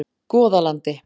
Goðalandi